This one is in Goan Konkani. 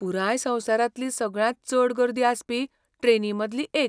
पुराय संवसारांतली सगळ्यांत चड गर्दी आसपी ट्रेनींमदली एक.